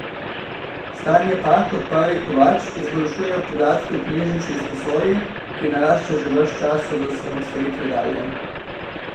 Stanje pa, kot pravi Kovač, izboljšujejo podatki o knjižnični izposoji, ki narašča že ves čas od osamosvojitve dalje.